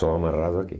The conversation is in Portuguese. Só amarrado aqui.